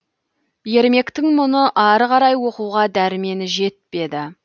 ермектің мұны ары қарай оқуға дәрмені жетпеді